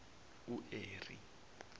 ueri